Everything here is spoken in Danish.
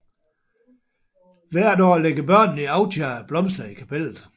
Hvert år lægger børnene i Authie blomster i kaptellet